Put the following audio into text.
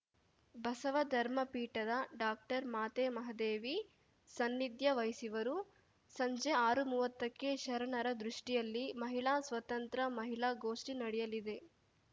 ಬಸವ ಧರ್ಮಪೀಠದ ಡಾಕ್ಟರ್ಮಾತೆ ಮಹಾದೇವಿ ಸನ್ನಿಧ್ಯ ವಹಿಸುವರು ಸಂಜೆ ಆರುಮುವತ್ತಕ್ಕೆ ಶರಣರ ದೃಷ್ಟಿಯಲ್ಲಿ ಮಹಿಳಾ ಸ್ವಾತಂತ್ರ ಮಹಿಳಾ ಗೋಷ್ಠಿ ನಡೆಯಲಿದೆ